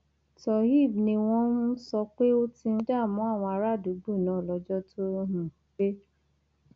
tohééb ni wọn um sọ pé ó ti ń dààmú àwọn àràádúgbò náà lọjọ tó um pé